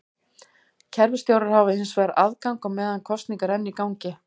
Kerfisstjórar hafa hins vegar aðgang á meðan kosning er enn í gangi.